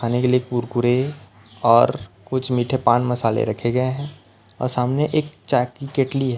खाने के लिए कुरकुरे और कुछ मीठे पान मसाले रखे गए हैं और सामने एक चाय की किटली है।